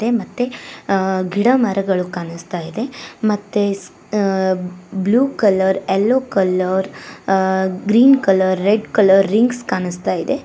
ಮತ್ತೆ ಮತ್ತೆ ಅ ಗಿಡ ಮರಗಳು ಕಾಣಿಸ್ತಾ ಇದೆ ಮತ್ತೆ ಅ ಬ್ಲೂ ಕಲರ್ ಎಲ್ಲೋ ಕಲರ್ ಆ green colour red colour rings ಕಾಣಿಸ್ತಾ ಇದೆ.